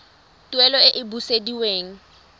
tuelo e e sa busediweng